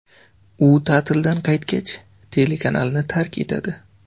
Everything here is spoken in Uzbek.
U ta’tildan qaytgach, telekanalni tark etadi.